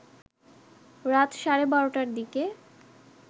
রাত সাড়ে বারোটার দিকে